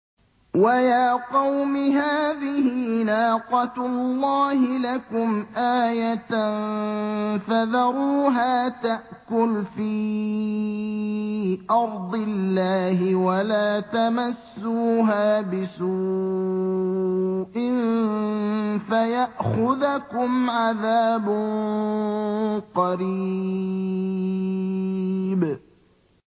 وَيَا قَوْمِ هَٰذِهِ نَاقَةُ اللَّهِ لَكُمْ آيَةً فَذَرُوهَا تَأْكُلْ فِي أَرْضِ اللَّهِ وَلَا تَمَسُّوهَا بِسُوءٍ فَيَأْخُذَكُمْ عَذَابٌ قَرِيبٌ